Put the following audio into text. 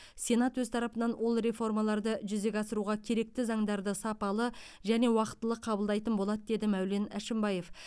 сенат өз тарапынан ол реформаларды жүзеге асыруға керекті заңдарды сапалы және уақтылы қабылдайтын болады деді мәулен әшімбаев